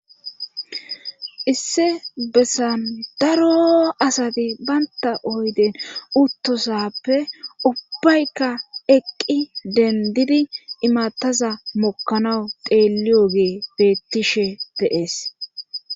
Issi bessan daarroo asati bantta oyde uttosaappe ubbayka eqqi denddidi imattaza mokkanaw xeeliyogey beettishe de7ees.